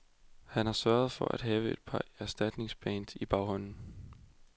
Han har sørget for at have et par erstatningsbands i baghånden.